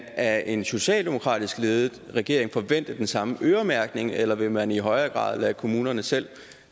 af en socialdemokratisk ledet regering forvente den samme øremærkning eller vil man i højere grad lade kommunerne selv